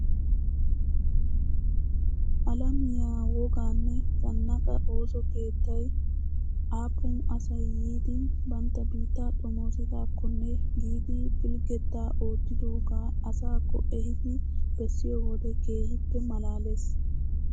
Alamiyaa wogaanne zannaqaa ooso keettay aappun asay yiidi bantta biittaa xomoosidakkonne giidi pilgettaa ottidogaa asaakko ehiidi bessiyoo wode keehippe malaalees!